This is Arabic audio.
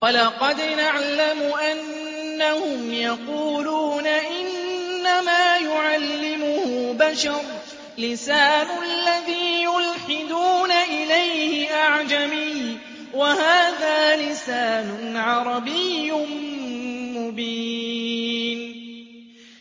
وَلَقَدْ نَعْلَمُ أَنَّهُمْ يَقُولُونَ إِنَّمَا يُعَلِّمُهُ بَشَرٌ ۗ لِّسَانُ الَّذِي يُلْحِدُونَ إِلَيْهِ أَعْجَمِيٌّ وَهَٰذَا لِسَانٌ عَرَبِيٌّ مُّبِينٌ